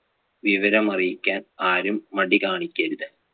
വിവരം അറിയിക്കാൻ ആരും മടി കാണിക്കരുത്.